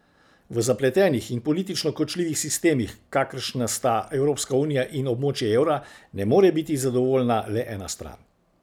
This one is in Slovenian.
V zapletenih in politično kočljivih sistemih, kakršna sta Evropska unija ali območje evra, ne more biti zadovoljna le ena stran.